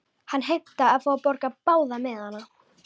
Hann heimtaði að fá að borga báða miðana.